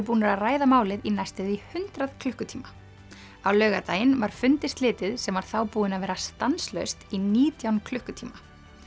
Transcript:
búnir að ræða málið í næstum því hundrað klukkutíma á laugardaginn var fundi slitið sem var þá búinn að vera stanslaust í nítján klukkutíma